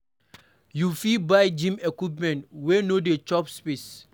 You fit buy gym equipments wey no dey chop space